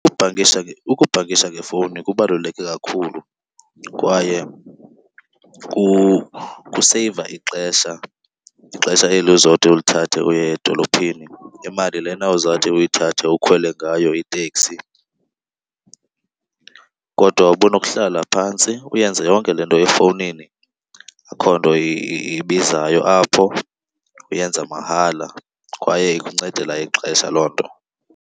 Ukubhankisha ngefowuni kubaluleke kakhulu kwaye kuseyiva ixesha, ixesha eli uzothi ulithathe uye edolophini, imali lena uzawuthi uyithathe ukhwele ngayo iteksi. Kodwa ubunokuhlala phantsi uyenze yonke le nto efowunini. Akho nto ibizayo apho, uyenza mahala kwaye ikuncedela ixesha loo nto.